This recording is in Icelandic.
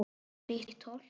Grýtt holt.